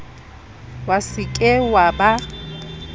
wa se ke wa ba